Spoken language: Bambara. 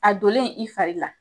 A donlen i fari la.